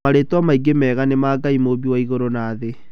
Marĩtwa maingĩ mega nĩ ma Ngai mũũmbi wa igũrũ na thĩ.